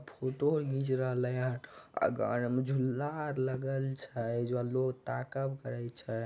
Photo आर घिच रहले हेय आगा आर मे झूला आर लगल छै ज लोग ताकब करे छै।